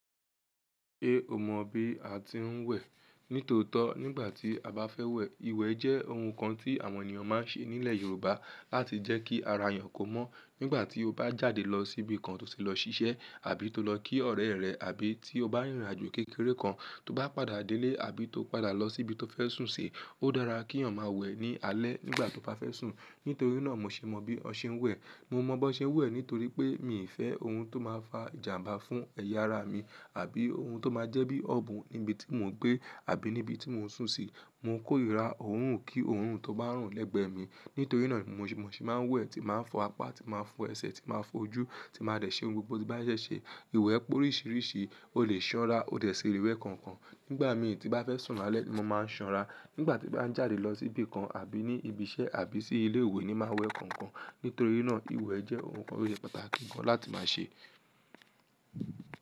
È o mọ bí a ti ń wẹ̀ nítòótó nígbà tí a bá fẹ́ wẹ̀. Ìwẹ̀ jẹ́ ohun kan tí àwọn ènìyàn máa ń ṣe nílẹ̀ Yorùbá láti jẹ́ kí ara èèyàn kó mọ́ nígbà tí ó bá jáde lọ síbi kan tó ti lọ ṣiṣẹ́ àbí tó lọ kí ọ̀rẹ́ rẹ̀ àbí tí ó bá rìnrìnàjò kékeré kan tó bá padà délé àbí tó padà lọ síbi tó fẹ́ sùn sí, ó dára kí èèyàn máa wẹ̀ ní alẹ́ nígbà tí ó bá fẹ́ sùn. Nítorí náà mo ṣe mọ bí ọ ṣẹ ń wẹ̀. Mo mọ bó ọṣẹ ń wẹ̀ nítorí pé mi ò fẹ́ ohun tó máa fa ìjàmbá fún ẹ̀yà ara mi àbí ohun tó máa jẹ́ bí ọ̀bùn níbi tí mo ń gbé àbí níbi tí mo ń sùn sí. Mo ń kórìíra òórùn kí òórùn tó bá rùn lẹ́gbẹ̀ẹ́ mi. Nítorí náà ni mo ṣe máa ń wẹ̀, tí màá fọ apá, tí màá fọ ẹsẹ̀, tí màá fọ ojú, tí màá de ṣe ohun gbogbo tí bá yẹ ṣe. Ìwẹ̀ pé oríṣìíríṣìí, o le sanra, o dẹ̀ ṣí le wẹ̀ kankan. Nígbà mi è tí bá fẹ́ sùn lálẹ́ ni mo máa ń sanra. Nígbà tí bá ń jáde lọ síbi kan àbí ní ibi iṣẹ́ àbí sí ilé ìwé ní máa wẹ̀ kankan. Nítorí náà ìwẹ̀ jẹ́ ohun kan tó ṣe pàtàkì gan láti máa ṣe.